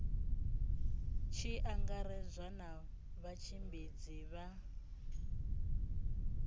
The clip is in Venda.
tshi angaredzwa na vhatshimbidzi vha